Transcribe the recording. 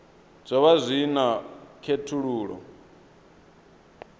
zwo vha zwi na khethululoe